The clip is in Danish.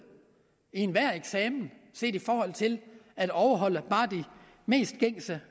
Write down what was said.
i enhver eksamen set i forhold til at overholde bare de mest gængse